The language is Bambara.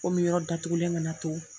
Komi yɔrɔ datugulen kana to.